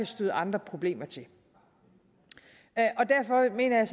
støde andre problemer til derfor mener jeg